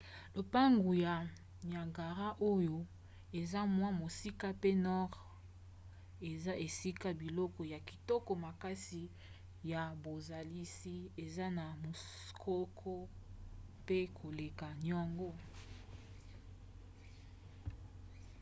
lobwaku ya niagara oyo eza mwa mosika mpe nord eza esika biloko ya kitoko makasi ya bozalisi eza na muskoka mpe koleka yango